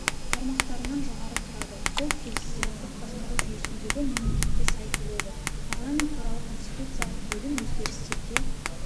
тармақтарынан жоғары тұрады бұл президенттік басқару жүйесіндегі мемлекетке сай келеді парламент туралы конституциялық бөлім өзгерістерге